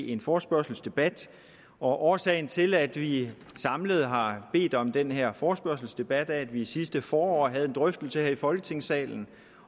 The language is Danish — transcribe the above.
en forespørgselsdebat årsagen til at vi samlet har bedt om den her forespørgselsdebat er at vi sidste forår havde en drøftelse her i folketingssalen